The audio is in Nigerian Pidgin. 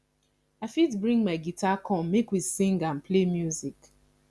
i fit bring my guitar come make we sing and play music